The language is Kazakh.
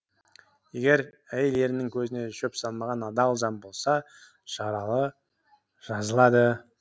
егер әйел ерінің көзіне шөп салмаған адал жан болса жаралы жазылады